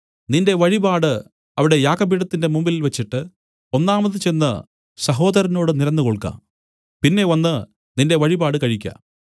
നിന്റെ വഴിപാട് അവിടെ യാഗപീഠത്തിന്റെ മുമ്പിൽ വെച്ചിട്ട് ഒന്നാമത് ചെന്ന് സഹോദരനോട് നിരന്നുകൊൾക പിന്നെ വന്നു നിന്റെ വഴിപാട് കഴിക്ക